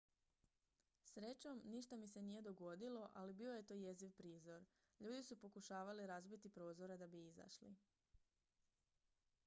"""srećom ništa mi se nije dogodilo ali bio je to jeziv prizor; ljudi su pokušavali razbiti prozore da bi izašli.